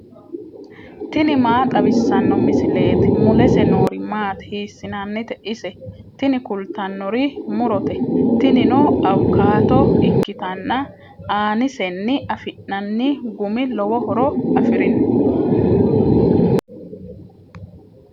tini maa xawissanno misileeti ? mulese noori maati ? hiissinannite ise ? tini kultannori murote. tinino awukaato ikkitanna aanisenni afi'nanni gumi lowo horo afirino.